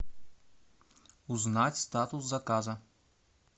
узнать статус заказа